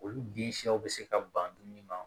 Olu bin siw bɛ se ka ban dumuni ma